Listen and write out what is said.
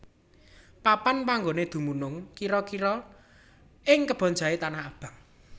Papan panggoné dumunung kira kria ing Kebon Jahe Tanah Abang